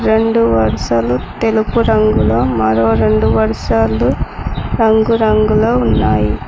రెండు వర్షాలు తెలుపు రంగులో మరో రెండు వర్షాలు రంగురంగులో ఉన్నాయి.